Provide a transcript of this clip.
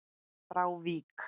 frá Vík.